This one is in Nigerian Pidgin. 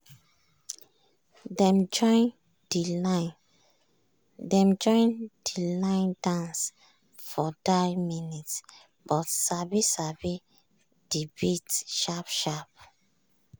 dem join de line dance for die minute but sabi sabi de beat sharp sharp.